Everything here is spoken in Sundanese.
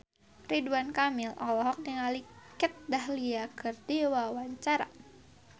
Ridwan Kamil olohok ningali Kat Dahlia keur diwawancara